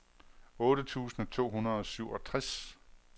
otte tusind to hundrede og syvogtres